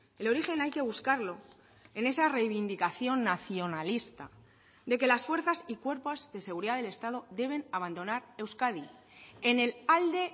el origen hay que buscarlo en esa reivindicación nacionalista de que las fuerzas y cuerpos de seguridad del estado deben abandonar euskadi en el alde